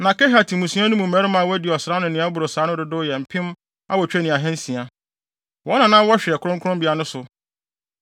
Na Kehat mmusua no mu mmarima a wɔadi ɔsram ne nea ɛboro saa no dodow yɛ mpem awotwe ne ahansia (8,600). Wɔn na na wɔhwɛ kronkronbea no so.